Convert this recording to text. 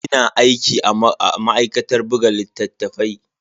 Ina aiki da ma'aikatar buga littatafai.